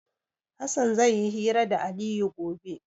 Hassan zai yi hira da Aliyu gobe.